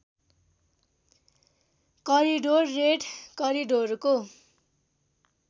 corridor red करिडोरको